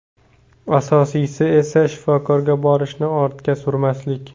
Asosiysi esa shifokorga borishni ortga surmaslik.